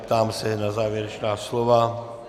Ptám se na závěrečná slova.